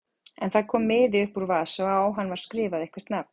En það kom miði upp úr vasa og á hann var skrifað eitthvert nafn.